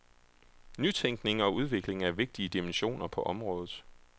Nytænkning og udvikling er vigtige dimensioner på området.